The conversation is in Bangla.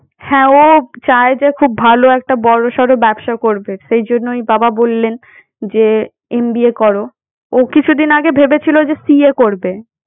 হ্যাঁ ও চায় যে খুব ভাল একটা বড় সড় ব্যবসা করবে সেই জন্যই বাবা বললেন যে MBA করো। ও কিছুদিন আগে ভেবে ছিল যে CA করবে।